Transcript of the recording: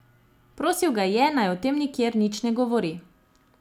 Prosil ga je, naj o tem nikjer nič ne govori.